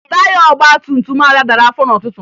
Taya ọgbantumtum Ada dara afọ n'ụtụtụ